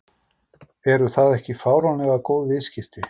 Eru það ekki fáránlega góð viðskipti?